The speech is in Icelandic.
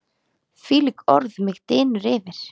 hvílíkt orð mig dynur yfir!